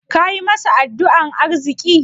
Kayi masa addu'an arziƙi?